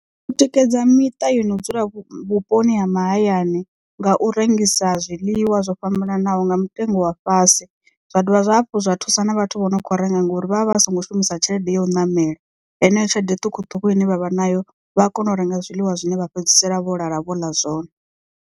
U tikedza miṱa yo no dzula vhuponi ha mahayani nga u rengisa zwiḽiwa zwo fhambananaho nga mutengo wa fhasi. Zwa dovha zwa hafhu zwa thusa na vhathu vho no kho renga ngauri vha vha vha songo shumisa tshelede ya u ṋamela heneyo tshelede ṱhukhuṱhukhu ine vha vha nayo vhaa kona u renga zwiḽiwa zwine vha fhedzisela vho lala vho ḽa zwone.